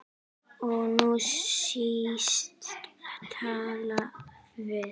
Og nú snýst taflið við.